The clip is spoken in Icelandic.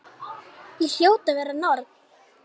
Ég hljóti að vera norn.